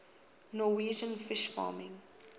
norwegian fish farming